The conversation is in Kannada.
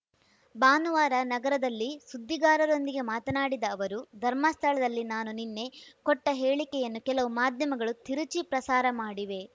ಭಾನುವಾರ ನಗರದಲ್ಲಿ ಸುದ್ದಿಗಾರರೊಂದಿಗೆ ಮಾತನಾಡಿದ ಅವರು ಧರ್ಮಸ್ಥಳದಲ್ಲಿ ನಾನು ನಿನ್ನೆ ಕೊಟ್ಟಹೇಳಿಕೆಯನ್ನು ಕೆಲವು ಮಾಧ್ಯಮಗಳು ತಿರುಚಿ ಪ್ರಸಾರ ಮಾಡಿವೆ